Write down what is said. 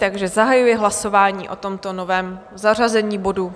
Takže zahajuji hlasování o tomto novém zařazení bodu.